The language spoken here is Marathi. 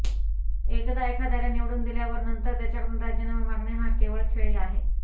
एकदा एखाद्याला निवडून दिल्यावर नंतर त्याच्याकडून राजीनामा मागणे हा केवळ खेळ आहे